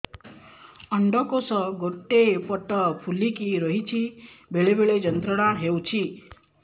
ଅଣ୍ଡକୋଷ ଗୋଟେ ପଟ ଫୁଲିକି ରହଛି ବେଳେ ବେଳେ ଯନ୍ତ୍ରଣା ହେଉଛି